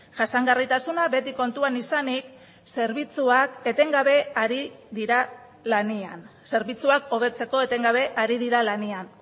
jasangarritasuna beti kontuan izanik zerbitzuak hobetzeko etengabe ari dira lanean